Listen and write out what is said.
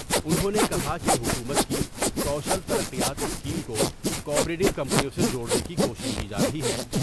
انھوں نے کہا کہ حکومت کی کوشل تر قیات سکیم کو کوآپریٹو کمپنیوں سے جوڑنے کی کوشش کی جارہی ہے۔